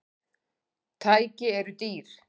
Tæki eru dýr.